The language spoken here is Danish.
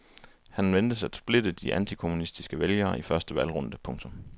Han ventes at splitte de antikommunistiske vælgere i første valgrunde. punktum